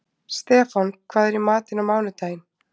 Stefán, hvað er í matinn á mánudaginn?